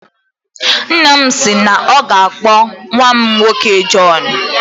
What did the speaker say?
Nna m si na ọ ga-akpọ nnwa m nwoke Jọn